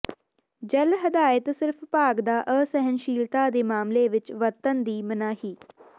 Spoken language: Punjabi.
ਜੈੱਲ ਹਦਾਇਤ ਸਿਰਫ ਭਾਗ ਦਾ ਅਸਹਿਣਸ਼ੀਲਤਾ ਦੇ ਮਾਮਲੇ ਵਿੱਚ ਵਰਤਣ ਦੀ ਮਨਾਹੀ